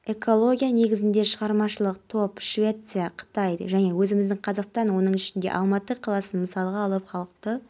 жетістіктері мен елде іске асырылып жатқан маңызды жобалар жөнінде айтты деп хабарлайды ақорда сайтына сілтеме